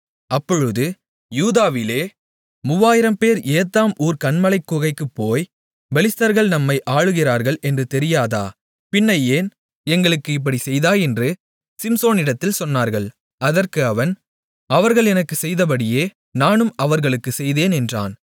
அப்பொழுது யூதாவிலே மூவாயிரம்பேர் ஏத்தாம் ஊர்க் கன்மலைக் குகைக்குப் போய் பெலிஸ்தர்கள் நம்மை ஆளுகிறார்கள் என்று தெரியாதா பின்னை ஏன் எங்களுக்கு இப்படிச் செய்தாய் என்று சிம்சோனிடத்தில் சொன்னார்கள் அதற்கு அவன் அவர்கள் எனக்குச் செய்தபடியே நானும் அவர்களுக்குச் செய்தேன் என்றான்